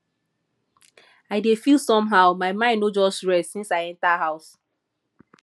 i dey feel somehow my mind no just rest since i enter house